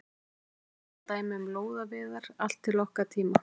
Eftir það eru ótal dæmi um lóðaveiðar allt til okkar tíma.